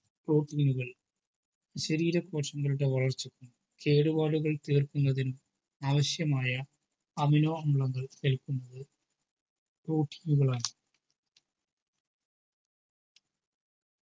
protein നുകൾ ശരീര കോശങ്ങളുടേ വളർച്ചക്കും കേടുപാടുകൾ തീർക്കുന്നതിനും ആവിശ്യമായ amino അമ്ലം കഴിക്കുന്നത് protein കളാണ്